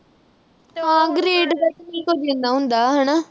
ਹਾਂ grade ਦਾ ਤਾਂ ਐਨਾ ਕੀ ਹੁੰਦਾ, ਹੁੰਦਾ ਹਨਾ।